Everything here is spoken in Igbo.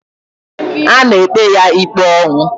A na-ekpe ya ikpe ọnwụ.